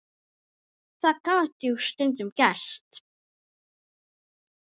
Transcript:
Það gat jú stundum gerst!